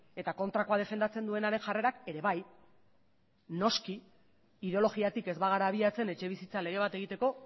eta kontrakoa defendatzen duenaren jarrerak ere bai noski ideologiatik ez bagara abiatzen etxebizitza lege bat egiteko